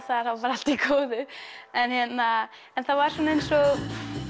það er þá bara allt í góðu en það var svona eins og